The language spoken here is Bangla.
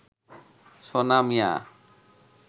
সোনা মিয়া